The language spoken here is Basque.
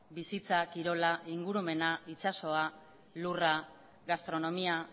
bizitza kirola ingurumena itsasoa lurra gastronomia